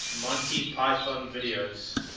monty python videos